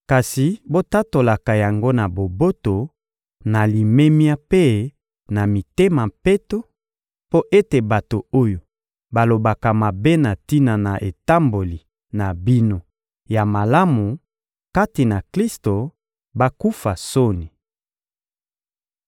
kasi botatolaka yango na boboto, na limemia mpe na mitema peto, mpo ete bato oyo balobaka mabe na tina na etamboli na bino ya malamu kati na Klisto bakufa soni.